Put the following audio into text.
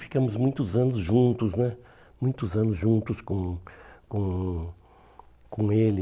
Ficamos muitos anos juntos né muitos anos juntos com com com ele.